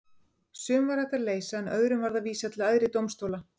Sum var hægt að leysa en öðrum varð að vísa til æðri dómstóla.